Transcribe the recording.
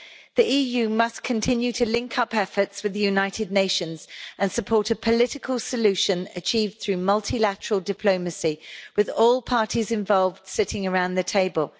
The EU must continue to link up efforts with the United Nations and support a political solution achieved through multilateral diplomacy, with all parties involved sitting around the table.